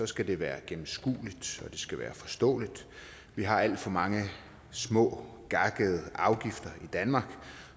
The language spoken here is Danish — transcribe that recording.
skal det være gennemskueligt og det skal være forståeligt vi har alt for mange små gakkede afgifter i danmark